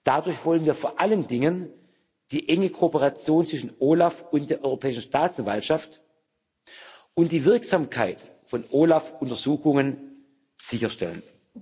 Dadurch wollen wir vor allen Dingen die enge Kooperation zwischen OLAF und der Europäischen Staatsanwaltschaft und die Wirksamkeit von OLAF Untersuchungen sicherstellen.